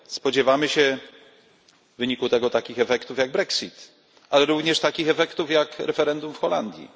Spodziewamy się w wyniku tego takich efektów jak Brexit, ale również takich efektów jak referendum w Holandii.